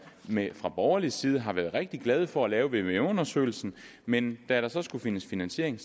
fra borgerlig side har været rigtig glad for at lave vvm undersøgelsen men da der så skulle findes finansiering